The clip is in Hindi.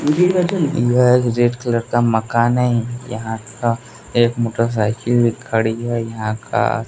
यह एक रेड कलर का मकान है यहां का एक मोटरसाइकिल खड़ी है यहां का--